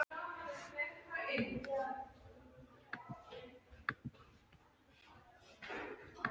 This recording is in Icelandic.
Hann var kominn í besta skap.